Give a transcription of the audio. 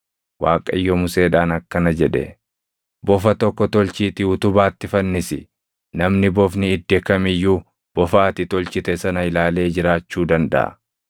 Waaqayyo Museedhaan akkana jedhe; “Bofa tokko tolchiitii utubaatti fannisi; namni bofni idde kam iyyuu bofa ati tolchite sana ilaalee jiraachuu dandaʼa.”